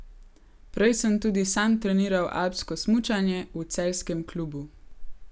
Prej sem tudi sam treniral alpsko smučanje v celjskem klubu.